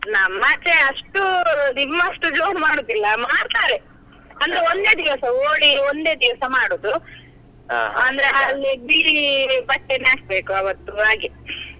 ನಮ್ಮ ಆಚೆ ಅಷ್ಟು, ನಿಮ್ಮಷ್ಟು ಜೋರ್ ಮಾಡುದಿಲ್ಲ ಮಾಡ್ತಾರೆ ಅಂದ್ರೆ ಒಂದೇ ದಿವಸ, Holi ಒಂದೇ ದಿವಸ ಮಾಡುದು, ಅಂದ್ರೆ ಅಲ್ಲಿ ಬಿಳಿ ಬಟ್ಟೆನೆ ಹಾಕ್ಬೇಕು ಅವತ್ತು ಹಾಗೆ.